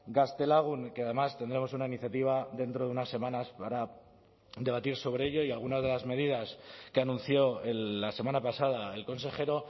gaztelagun que además tendremos una iniciativa dentro de unas semanas para debatir sobre ello y algunas de las medidas que anunció la semana pasada el consejero